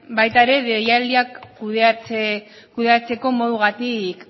baita deialdiak kudeatzeko moduagatik